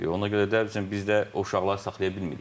Ona görə də bizdə o uşaqları saxlaya bilmirik.